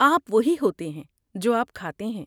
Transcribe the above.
آپ وہی ہوتے ہیں جو آپ کھاتے ہیں۔